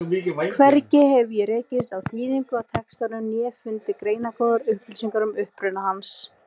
Hvergi hef ég rekist á þýðingu á textanum né fundið greinargóðar upplýsingar um uppruna hans.